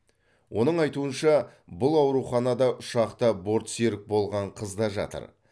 оның айтуынша бұл ауруханада ұшақта бортсерік болған қыз да жатыр